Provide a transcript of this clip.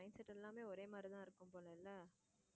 mind set எல்லாமே ஒரே மாறிதான் இருக்கும் போலல்ல